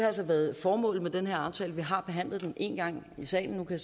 altså været formålet med den her aftale vi har behandlet den en gang i salen nu kan